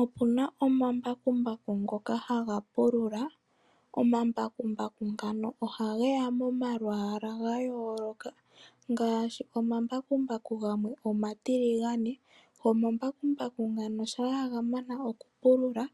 Opu na omambakumbaku ngoka haga pulula, omambakumbaku ngano ohage ya momalwala gayoloka ngaashi omambakumbaku gamwe omatiligana. Omambakumbaku ngayo shampa ga mano okupulula